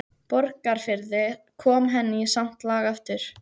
Borgarfirði, kom henni í samt lag aftur.